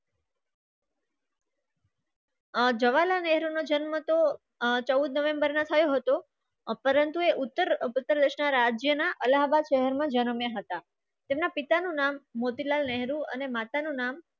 આ જવાના નેહરૂનો જન્મ તો ચૌદ નવેમ્બરના થયો હતો. પરંતુ એ ઉત્તર ઉત્તર રસના રાજ્યના અલ્હાબાદ શહેરમાં હતા તેમના પિતાનું નામ મોતીલાલ નહેરુ અને માતાનું નામ